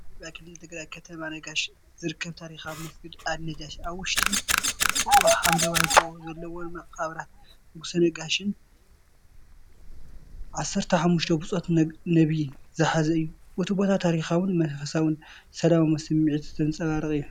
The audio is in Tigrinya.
ኣብ ኢትዮጵያ ክልል ትግራይ ከተማ ነጋሽ ዝርከብ ታሪኻዊ መስጊድ ኣልናጃሺ ኣብ ውሽጢ ቀጽሩ ሓምለዋይ ጎቦ ዘለዎም መቓብራት ንጉስ ነጋሽን 15 ብጾት ነቢይን ዝሓዘ እዩ። እቲ ቦታ ታሪኻውን መንፈሳውን ሰላማዊ ስምዒት ዘንጸባርቕ እዩ!